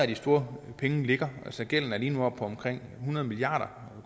de store penge ligger gælden er lige nu oppe på omkring hundrede milliard